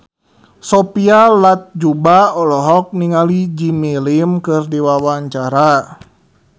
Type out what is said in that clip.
Sophia Latjuba olohok ningali Jimmy Lin keur diwawancara